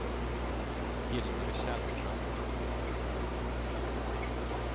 Hilmer Källström